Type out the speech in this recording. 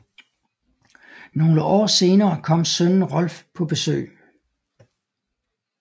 Nogle år senere kom sønnen Rolf på besøg